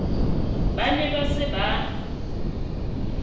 ba ne ba se ba